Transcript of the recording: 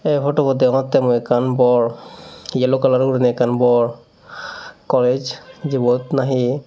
ei phutubot degongottey mui ekkan bor yellow kalaror guriney ekkan bor kolej jibot nahi.